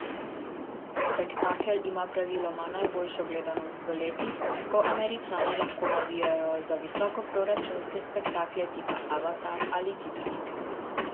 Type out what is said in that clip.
Spektakel ima praviloma najboljšo gledanost v letih, ko Američani lahko navijajo za visokoproračunske spektakle tipa Avatar ali Titanik.